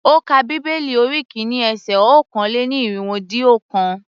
Ó ka bíbélì orí kìíní ese okòó-lé-ní-irínwó-dín-ọ̀kan.